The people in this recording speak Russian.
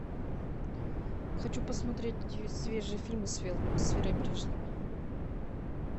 хочу посмотреть свежие фильмы с верой брежневой